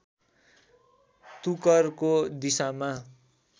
तुकरको दिशामा